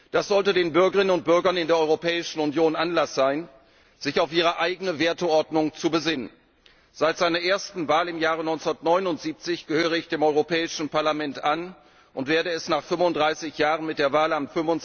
Das sollte den Bürgerinnen und Bürgern in der Europäischen Union Anlass sein, sich auf ihre eigene Werteordnung zu besinnen. Seit seiner ersten Wahl im Jahre 1979 gehöre ich dem Europäischen Parlament an und werde es nach 35 Jahren mit der Wahl am